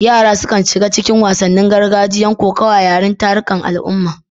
Yara sukan shiga cikin wasannin gargajiya kamar kokawa yayin tarukan al'umma.